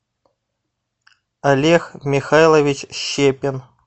олег михайлович щепин